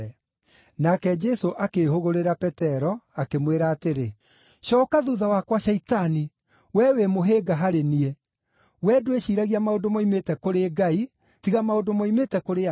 Nake Jesũ akĩĩhũgũrĩra Petero, akĩmwĩra atĩrĩ, “Cooka thuutha wakwa, Shaitani! Wee wĩ mũhĩnga harĩ niĩ; wee ndwĩciiragia maũndũ moimĩte kũrĩ Ngai, tiga maũndũ moimĩte kũrĩ andũ.”